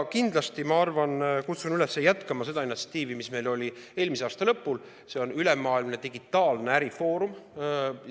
Kindlasti kutsun ma üles jätkama seda initsiatiivi, mis meil oli eelmise aasta lõpul, s.o ülemaailmne digitaalne ärifoorum.